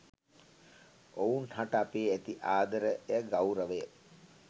ඔවුන් හට අපේ ඇති ආදරය ගෞරවය